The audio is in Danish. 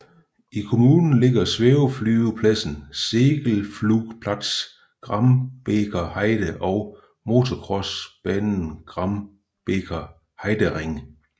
I kommunen ligger svæveflyvepladsen Segelflugplatz Grambeker Heide og motocrossbanen Grambeker Heidering